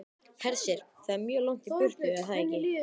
Hersir: Það er mjög langt í burtu, er það ekki?